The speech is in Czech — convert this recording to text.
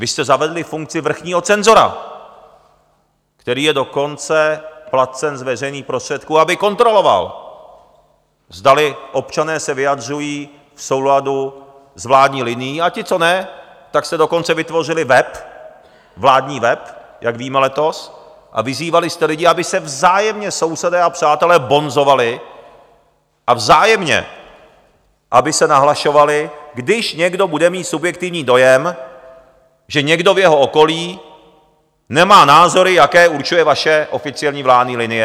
Vy jste zavedli funkci vrchního cenzora, který je dokonce placen z veřejných prostředků, aby kontroloval, zdali občané se vyjadřují v souladu s vládní linií, a ti co ne, tak jste dokonce vytvořili web, vládní web, jak víme, letos a vyzývali jste lidi, aby se vzájemně sousedé a přátelé bonzovali a vzájemně aby se nahlašovali, když někdo bude mít subjektivní dojem, že někdo v jeho okolí nemá názory, jaké určuje vaše oficiální vládní linie.